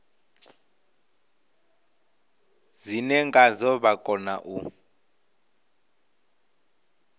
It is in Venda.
dzine ngadzo vha kona u